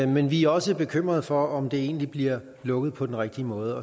men vi er også bekymret for om det egentlig bliver lukket på den rigtige måde